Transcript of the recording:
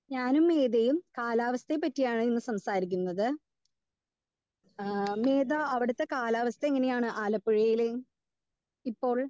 Speaker 2 ഞാനും മീതയും കാലാവസ്ഥയെ പറ്റിയാണ് ഇന്ന് സംസാരിക്കുന്നത്. ഏഹ് മീത അവിടുത്തെ കാലാവസ്ഥ എങ്ങനെയാണ് ആലപ്പുഴയിലെയും ഇപ്പോൾ